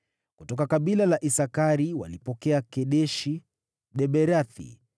Kutoka kabila la Isakari walipokea Kedeshi, Daberathi,